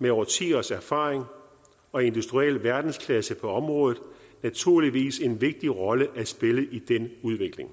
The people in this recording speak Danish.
med årtiers erfaring og industriel verdensklasse på området naturligvis en vigtig rolle at spille i den udvikling